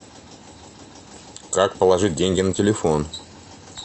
как положить деньги на телефон